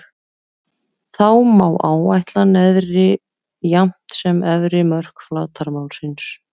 Þá má áætla neðri jafnt sem efri mörk flatarmálsins.